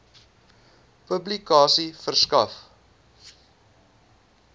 publikasie verskaf